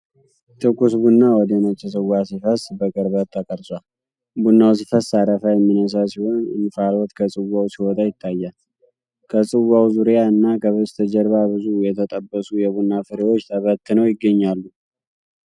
ትኩስ ቡና ወደ ነጭ ጽዋ ሲፈስ በቅርበት ተቀርጿል። ቡናው ሲፈስ አረፋ የሚነሳ ሲሆን እንፋሎት ከጽዋው ሲወጣ ይታያል። ከጽዋው ዙሪያ እና ከበስተጀርባ ብዙ የተጠበሱ የቡና ፍሬዎች ተበትነው ይገኛሉ።